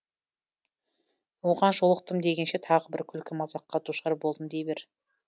оған жолықтым дегенше тағы бір күлкі мазаққа душар болдым дей бер